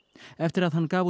eftir að hann gaf út